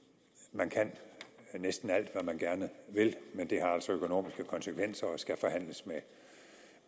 man kan næsten alt hvad man gerne vil men det har altså økonomiske konsekvenser og skal forhandles